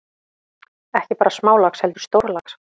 Ekki bara smálax heldur stórlax.